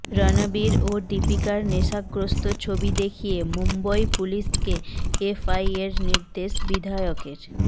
রণবীর ও দীপিকার নেশাগ্রস্ত ছবি দেখিয়ে মুম্বই পুলিশকে এফআইএর নির্দেশ বিধায়কের